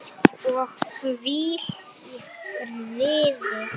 Það er bara tær snilld.